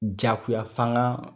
Jakoyafangan